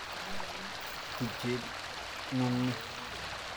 Tupchet ng'ung' ni.